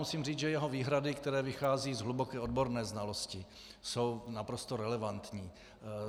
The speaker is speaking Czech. Musím říct, že jeho výhrady, které vycházejí z hluboké odborné znalosti, jsou naprosto relevantní.